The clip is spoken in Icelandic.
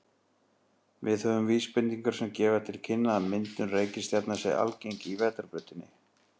Við höfum vísbendingar sem gefa til kynna að myndun reikistjarna sé algeng í Vetrarbrautinni.